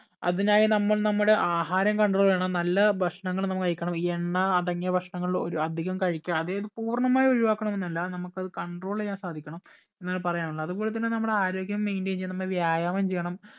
അതിനായി നമ്മൾ നമ്മുടെ ആഹാരം control ചെയ്യണം നല്ല ഭക്ഷണങ്ങൾ നമ്മൾ കഴിക്കണം ഈ എണ്ണ അടങ്ങിയ ഭക്ഷണങ്ങൾ ഒരു അധികം കഴിക്കാതെ പൂർണ്ണമായി ഒഴിവാക്കണം എന്നല്ല നമുക്ക് അത് control ചെയ്യാൻ സാധിക്കണം എന്നാണ് പറയാനുള്ളത് അതുപോലെ തന്നെ നമ്മുടെ ആരോഗ്യം maintain ചെയ്യാൻ നമ്മൾ വ്യായാമം ചെയ്യണം